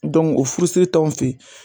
o furusiri t'an fe yen